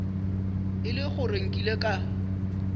e le gore nkile ka